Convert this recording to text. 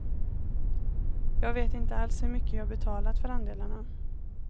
Jag vet inte alls hur mycket jag betalat för andelarna.